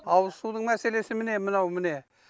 ауыз судың мәселесі міне мынау міне